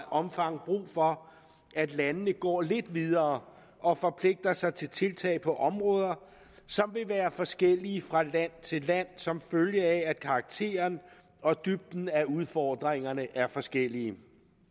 omfang brug for at landene går lidt videre og forpligter sig til tiltag på områder som vil være forskellige fra land til land som følge af at karakteren og dybden af udfordringerne er forskellige